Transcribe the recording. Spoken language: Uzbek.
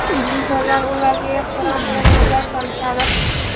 Insonlar ularga ehtirom bilan nazar solishadi.